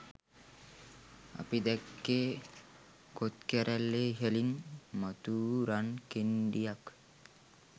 අපි දැක්කේ කොත්කැරැල්ලේ ඉහළින් මතුවූ රන් කෙණ්ඩියක්